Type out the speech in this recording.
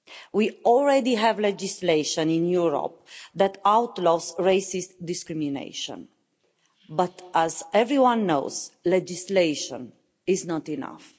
We already have legislation in Europe that outlaws racist discrimination, but as everyone knows legislation is not enough.